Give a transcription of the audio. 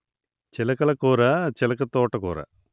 చిలకకూర చిలక తోటకూర